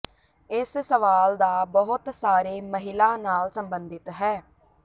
ਇਸ ਸਵਾਲ ਦਾ ਬਹੁਤ ਸਾਰੇ ਮਹਿਲਾ ਨਾਲ ਸੰਬੰਧਿਤ ਹੈ